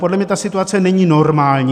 Podle mě ta situace není normální.